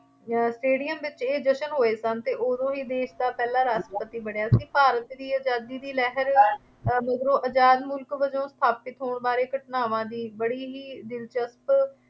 ਅਹ stadium ਵਿੱਚ ਇਹ ਜਸ਼ਨ ਹੋਏ ਸਨ ਅਤੇ ਉਦੋਂ ਹੀ ਦੇਸ਼ ਦਾ ਪਹਿਲਾ ਰਾਸ਼ਟਰਪਤੀ ਬਣਿਆ ਸੀ। ਭਾਰਤ ਦੀ ਆਜ਼ਾਦੀ ਦੀ ਲਹਿਰ ਅਹ ਮਗਰੋਂ ਆਜ਼ਾਦ ਮੁਲਕ ਵਜੋਂ ਸਥਾਪਤ ਹੋਣ ਬਾਰੇ ਘਟਨਾਵਾਂ ਦੀ ਲੜੀ ਬੜੀ ਹੀ ਦਿਲਚਸਪ